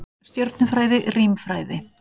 Stjörnufræði, rímfræði.